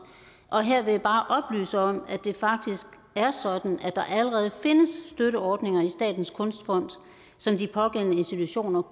og her vil jeg bare oplyse om at det faktisk er sådan at der allerede findes støtteordninger i statens kunstfond som de pågældende institutioner